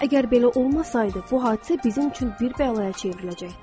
Əgər belə olmasaydı, bu hadisə bizim üçün bir bəlaya çevriləcəkdir.